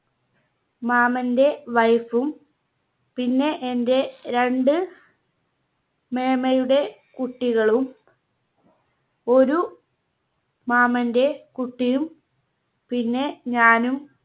മാമന്റെ Wife ഉം പിന്നെ എന്റെ രണ്ട് മേമ്മയുടെ കുട്ടികളും ഒരു മാമന്റെ കുട്ടിയും പിന്നെ ഞാനും